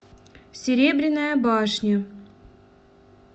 серебряная башня